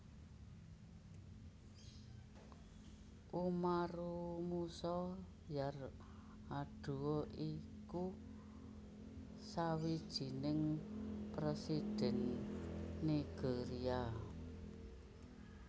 Umaru Musa Yar Adua iku sawijining Présidhèn Nigeria